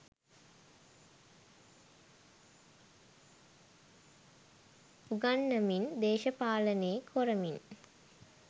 උගන්නමින් දේශපාලනේ කොරමින්